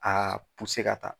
A ka taa.